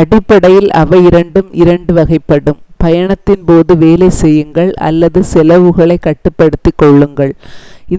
அடிப்படையில் அவை இரண்டு 2 வகைப்படும்: பயணத்தின் போது வேலை செய்யுங்கள் அல்லது செலவுகளைக் கட்டுப்படுத்திக் கொள்ளுங்கள்.